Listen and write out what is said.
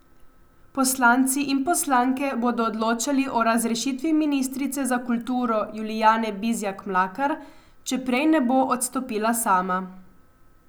Poslanci in poslanke bodo odločali o razrešitvi ministrice za kulturo Julijane Bizjak Mlakar, če prej ne bo odstopila sama.